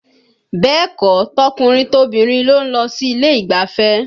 Bẹ́ẹ̀ kọ́, tọkùnrin tobìnrin ló ń lọ sí ilé ìgbafẹ́